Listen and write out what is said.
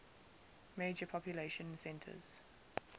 major population centers